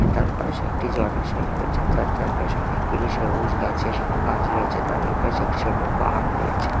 এটার পাশে একটি জলাশয় রয়েছে তার চারপাশে অনেকগুলি সবুজ গাছের গাছ রয়েছে তার ওইপাশে একটি ছোটো পাহাড় রয়েছে।